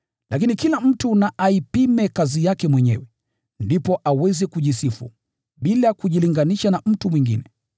Lakini kila mtu na aipime kazi yake mwenyewe, ndipo aweze kujisifu, bila kujilinganisha na mtu mwingine.